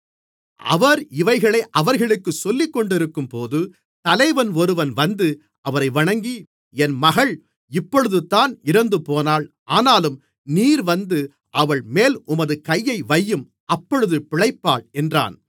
அவர் இவைகளை அவர்களுக்குச் சொல்லிக்கொண்டிருக்கும்போது தலைவன் ஒருவன் வந்து அவரை வணங்கி என் மகள் இப்பொழுதுதான் இறந்துபோனாள் ஆனாலும் நீர் வந்து அவள்மேல் உமது கையை வையும் அப்பொழுது பிழைப்பாள் என்றான்